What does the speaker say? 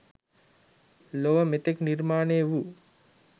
ලොව මෙතෙක් නිර්මාණය වූ